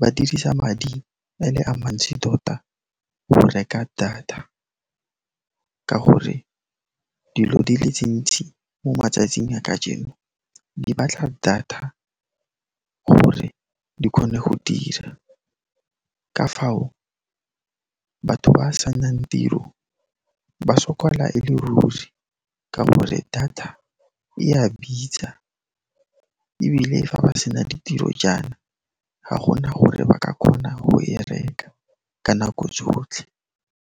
ba dirisa madi a le a mantsi tota go reka data ka gore dilo di le tse ntsi mo matsatsing a kajeno di batla data gore di kgone go dira. Ka fao, batho ba senang tiro ba sokola e le ruri ka gore data e a bitsa ebile fa ba sena ditiro jaana, ga gona gore ba ka kgona go e reka ka nako tsotlhe.